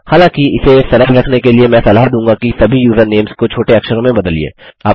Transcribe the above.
हालाँकि इसे सरल रखने के लिए मैं सलाह दूँगा कि सभी युज़रनेम्स को छोटे अक्षरों में बदलिए